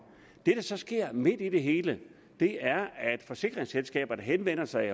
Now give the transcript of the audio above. det så sker midt i det hele er at forsikringsselskaberne henvender sig